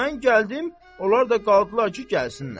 Mən gəldim, onlar da qaldılar ki, gəlsinlər.